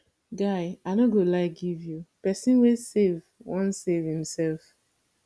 guy i no go lie give you pesin wey save wan save imself